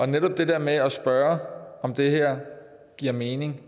netop det der med at spørge om det her giver mening